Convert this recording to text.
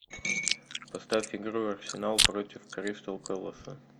поставь игру арсенал против кристал пэласа